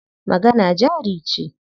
Magana jari ce.